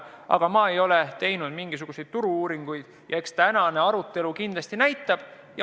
Aga ma ei ole teinud mingisuguseid turu-uuringuid ja eks tänane arutelu näitab, kuidas läheb.